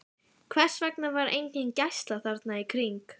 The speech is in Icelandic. Hvers vegna var engin gæsla þarna í kring?